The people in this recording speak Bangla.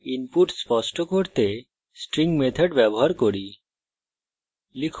তাই ইনপুট স্পষ্ট করতে string methods ব্যবহার করি